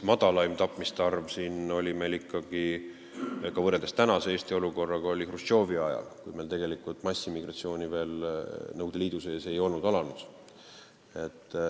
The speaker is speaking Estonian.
Madalaim tapmiste arv võrreldes tänase Eesti olukorraga oli Hruštšovi ajal, kui massimigratsioon Nõukogude Liidu sees ei olnud alanud.